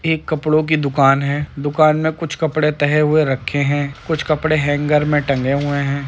एक कपड़ों की दुकान हैदुकान में कुछ कपड़े तहे हुए रखे हैं। कुछ कपड़े हेंगर में टंगे हुए हैं।